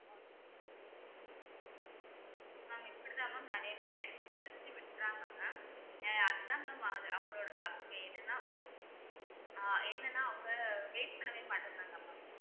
mam இப்படிதான் mam நிறைய பேர் எடுத்துட்டு எடுத்துவிட்டுடறாங்க mam அதான் mam அவங்~ அவங்களோட தப்பு என்னன்னா ஆஹ் என்னன்னா அவங்க wait பண்ணவேமாட்டேங்கறாங்க mam